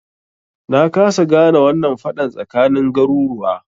Na kasa gane wannan faɗan tsakanin garuruwa